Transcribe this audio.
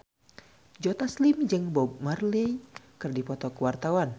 Joe Taslim jeung Bob Marley keur dipoto ku wartawan